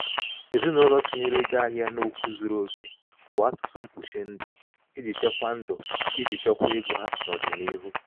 ezinụlọ tinyere ego ahịa n'okwu zuru oke bụ atụtụ mkpuchi ndụ iji chekwaa ndụ iji chekwaa ego ha n'ọdịniihu.